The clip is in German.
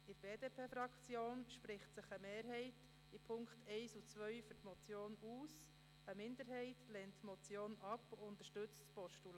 In der BDP-Fraktion spricht sich eine Mehrheit in den Punkten 1 und 2 für die Motion aus, eine Minderheit lehnt die Motion ab und unterstützt ein Postulat.